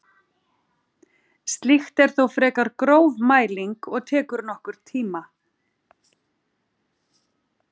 Slíkt er þó frekar gróf mæling og tekur nokkurn tíma.